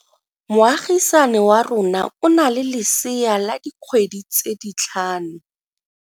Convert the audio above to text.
Moagisane wa rona o na le lesea la dikgwedi tse tlhano.